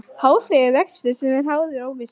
Hóflegur vöxtur sem er háður óvissu